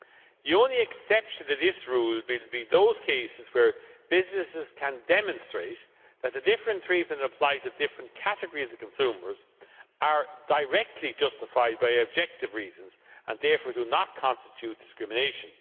The only exception to this rule will be those cases where businesses can demonstrate that the different treatment applied to different categories of consumers is directly justified by objective reasons and therefore does not constitute discrimination.